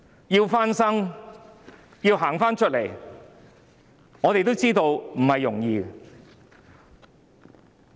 要復蘇，要走出困局，我們也知道並不容易。